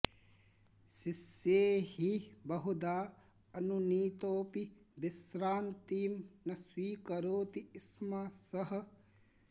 शिष्यैः बहुधा अनुनीतोऽपि विश्रान्तिं न स्वीकरोति स्म सः